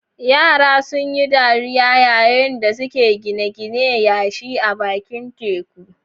Yara sun yi dariya yayin da suke gina ginin yashi a bakin teku.